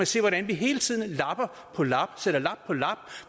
se hvordan vi hele tiden lapper sætter lap på lap